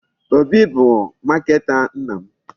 Obi bụ marketer nna m.